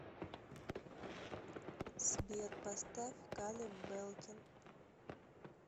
сбер поставь калеб белкин